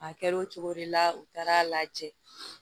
A kɛr'o cogo de la u taara a lajɛ